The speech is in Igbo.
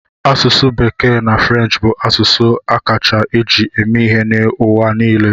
Asụsụ Bekee na French bụ asụsụ a kacha eji eme ihe n'ụwa niile.